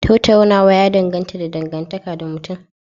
Tattaunawa ya dogara da dangantaka da mutum